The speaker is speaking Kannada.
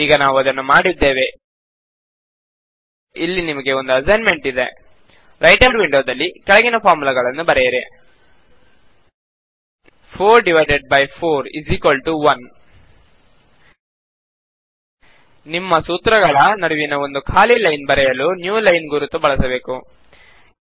ಈಗ ನಾವು ಅದನ್ನು ಮಾಡಿದ್ದೇವೆ ಇಲ್ಲಿ ನಿಮಗೆ ಒಂದು ಅಸೈನ್ಮೆಂಟ್ ಇದೆ ರೈಟರ್ ವಿಂಡೋದಲ್ಲಿ ಕೆಳಗಿನ ಫಾರ್ಮುಲಾಗಳನ್ನು ಬರೆಯಿರಿ 4 ರಿಂದ 4 ನ್ನು ಬಾಗಿಸಿದರೆ 1 ನಿಮ್ಮ ಸೂತ್ರಗಳ ನಡುವಿನ ಒಂದು ಖಾಲಿ ಲೈನ್ ಬರೆಯಲು ನ್ಯೂಲೈನ್ ಗುರುತು ಬಳಸಬೇಕು